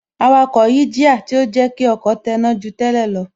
Awakọ̀ yí jíà, tí ó jẹ́ kí ọkọ̀ tẹná ju tẹ́lẹ̀ lọ